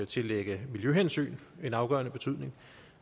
tillægge miljøhensyn en afgørende betydning